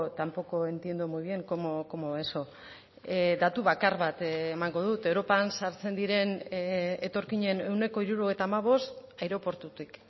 tampoco entiendo muy bien cómo eso datu bakar bat emango dut europan sartzen diren etorkinen ehuneko hirurogeita hamabost aireportutik